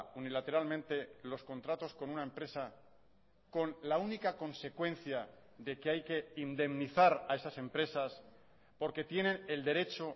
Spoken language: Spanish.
unilateralmente los contratos con una empresa con la única consecuencia de que hay que indemnizar a esas empresas porque tienen el derecho